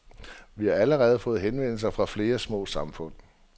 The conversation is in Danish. Vi har allerede fået henvendelser fra flere små samfund.